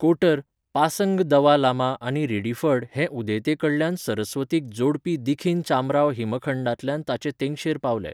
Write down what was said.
कोटर, पासंग दवा लामा आनी रिडीफर्ड हे उदेंतेकडल्यान सरस्वतीक जोडपी दखिनी चामराव हिमखंडांतल्यान ताचे तेंगशेर पावले.